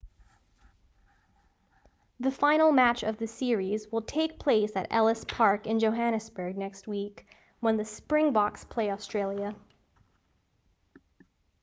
the final match of the series will take place at ellis park in johannesburg next week when the springboks play australia